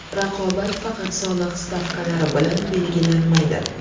Raqobat faqat soliq stavkalari bilan belgilanmaydi.